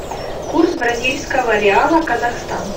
курс бразильского реала казахстан